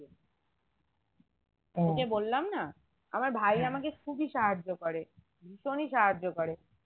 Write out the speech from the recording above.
ঐযে বললাম না আমার ভাই আমাকে খুবই সাহায্য করে ভীষণই সাহায্য করে